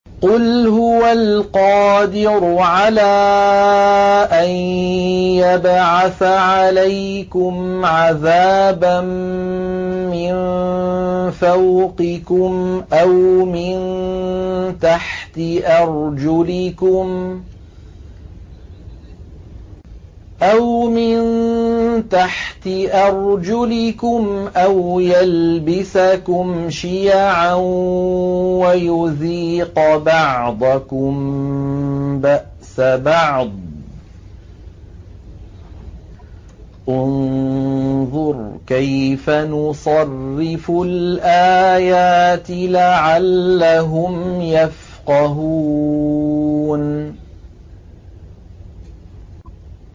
قُلْ هُوَ الْقَادِرُ عَلَىٰ أَن يَبْعَثَ عَلَيْكُمْ عَذَابًا مِّن فَوْقِكُمْ أَوْ مِن تَحْتِ أَرْجُلِكُمْ أَوْ يَلْبِسَكُمْ شِيَعًا وَيُذِيقَ بَعْضَكُم بَأْسَ بَعْضٍ ۗ انظُرْ كَيْفَ نُصَرِّفُ الْآيَاتِ لَعَلَّهُمْ يَفْقَهُونَ